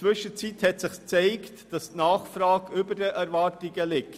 Inzwischen hat sich gezeigt, dass die Nachfrage über den Erwartungen liegt.